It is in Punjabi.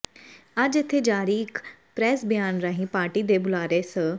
ਅੱਜ ਇਥੇ ਜਾਰੀ ਇੱਕ ਪ੍ਰੈਸ ਬਿਆਨ ਰਾਹੀਂ ਪਾਰਟੀ ਦੇ ਬੁਲਾਰੇ ਸ